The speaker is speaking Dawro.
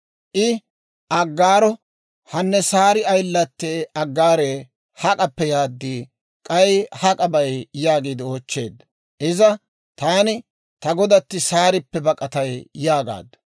I Aggaaro, «Hanne Saari ayilattee Aggaaree, hak'appe yaad? K'ay hak'a bay?» yaagiide oochcheedda. Iza, «Taani ta godatti Saarippe bak'atay» yaagaaddu.